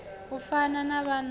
u fana na vhana vhane